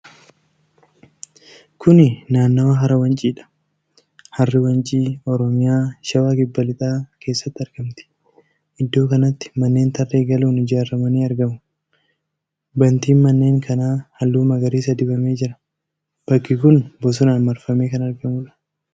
Kuni naannawa hara Wanciidha. Harri wancii Oromiyaa, Shawaa Kibba Lixaa keessatti argamti. Iddoo kanatti mannee tarree galuun ijaaraman ni argamu. Bantiin manneen kanaa halluu magariisa dibamee jira. Bakki kun bosonaan marfamee kan argamuudha.